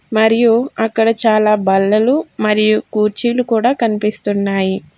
మరియు అక్కడ చాలా బల్లలు మరియు కుర్చీలు కూడ కనిపిస్తున్నాయి.